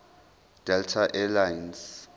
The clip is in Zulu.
delta air lines